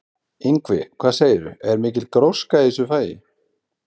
Ingvi, hvað segirðu, er mikil gróska í þessu fagi?